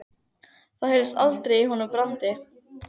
Það heyrðist aldrei í honum Brandi.